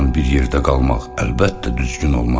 Ondan bir yerdə qalmaq əlbəttə düzgün olmaz.